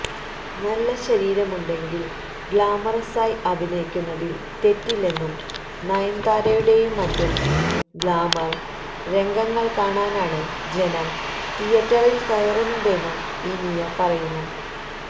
നല്ല ശരീരമുണ്ടെങ്കില് ഗഌമറസായി അഭിനയിക്കുന്നതില് തെറ്റില്ലെന്നും നയന്താരയുടെയും മറ്റും ഗഌമര് രംഗങ്ങള് കാണാനാണ് ജനം തീയറ്ററില് കയറുന്നതെന്നും ഇനിയ പറയുന്നു